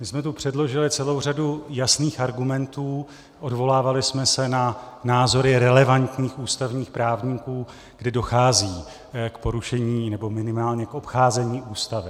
My jsme tu předložili celou řadu jasných argumentů, odvolávali jsme se na názory relevantních ústavních právníků, kdy dochází k porušení, nebo minimálně k obcházení Ústavy.